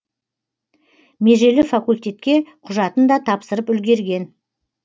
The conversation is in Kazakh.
межелі факультетке құжатын да тапсырып үлгерген